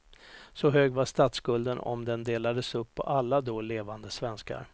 Så hög var statsskulden om den delades upp på alla då levande svenskar.